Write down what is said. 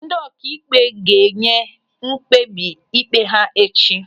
Ndị ọkaikpe ga-enye mkpebi ịkpe ha echi.